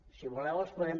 si voleu els podem